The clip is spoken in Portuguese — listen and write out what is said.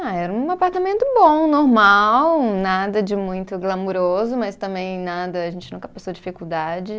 Ah, era um apartamento bom, normal, nada de muito glamuroso, mas também nada, a gente nunca passou dificuldade.